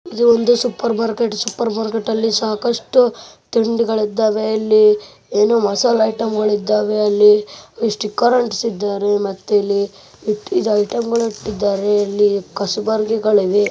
ಇದು ಒಂದು supermarket supermarket ಅಲ್ಲಿ ಸಾಕಷ್ಟು ತಿಂಡಿಗಳು ಇದ್ದಾವೆ ಇಲ್ಲಿ ಏನೋ ಮಸಾಲೆ ಐಟಂಗಳು ಇದ್ದಾವೆ ಅಲ್ಲಿ ಸ್ಟಿಕರ್ ಅಂಟಿಸಿದ್ದಾರೆ ಮತ್ತೆ ಇಲ್ಲಿ ಐಟಂಗಳು ಇಟ್ಟಿದ್ದಾರೆ ಇಲ್ಲಿ ಕಸಬರಿಗೆಗಳು ಇವೆ .